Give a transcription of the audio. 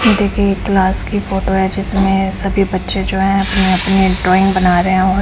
देखिए ये क्लास की फोटो है जिसमें सभी बच्चे जो है अपने-अपने ड्राइंग बना रहे है और --